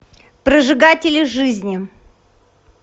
прожигатели жизни